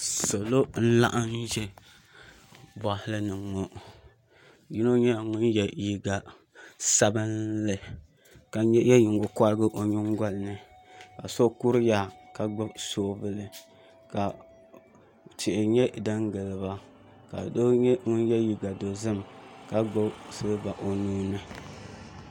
Sali n laɣam ʒɛ boɣali ni ŋo yino nyɛla ŋun yɛ liiga sabinli ka yɛ nyingokorigi o nyingoli ni ka so kuriya ka gbuni soobuli ka tihi nyɛ din giliba ka doo nyɛ ŋun yɛ liiga dozim ka gbubi silba o nuuni